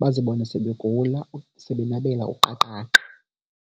bazibone sebegula sebenabela uqaqaqa.